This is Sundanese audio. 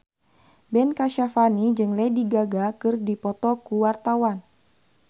Ben Kasyafani jeung Lady Gaga keur dipoto ku wartawan